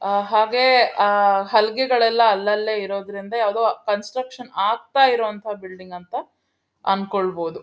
ಆ ಹಾಗೆ ಆ ಹಲಗೆಗಳೆಲ್ಲ ಅಲ್ಲಲ್ಲೇ ಇರೋದ್ರಿಂದ ಯಾವುದೊ ಕನ್ಸ್ಟ್ರಕ್ಷನ್ ಆಗ್ತಾ ಇರೋಅಂತ ಬಿಲ್ಡಿಂಗ್ ಅಂತ ಆಂಕೊಳ್ಬಹುದು.